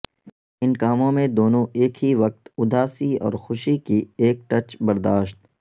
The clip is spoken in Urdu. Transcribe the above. ان کاموں میں دونوں ایک ہی وقت اداسی اور خوشی کی ایک ٹچ برداشت